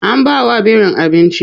An bawa birin abinci.